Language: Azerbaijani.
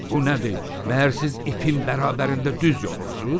Bu nədir, məgər siz ipin bərabərində düz yonursuz?